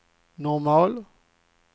normal